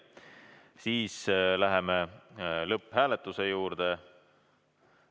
Läheme lõpphääletuse juurde.